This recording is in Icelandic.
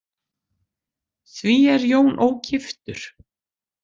Því er Jón ógiftur.